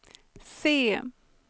C